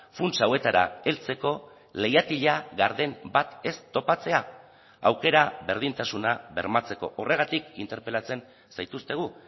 funts hauetara heltzeko leihatila garden bat ez topatzea aukera berdintasuna bermatzeko horregatik interpelatzen zaituztegu